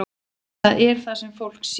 Það er það sem fólk sér.